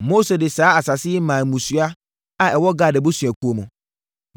Mose de saa asase yi maa mmusua a ɛwɔ Gad abusuakuo mu: